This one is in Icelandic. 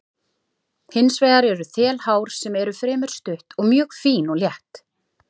Hins vegar eru þelhár sem eru fremur stutt og mjög fín og létt.